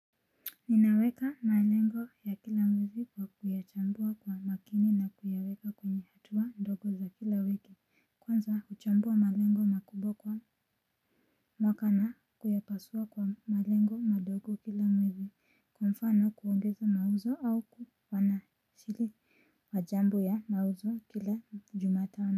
Ninaweka malengo ya kila mwezi kwa kuyachambua kwa makini na kuyaweka kwenye hatua ndogo za kila wiki. Kwanza kuchambua malengo makubwa kwa mwaka na kuyapasua kwa malengo madogo kila mwezi. Kwa mfano kuongeza mauzo au kwanashiri kwa jambo ya mauzo kila jumatano.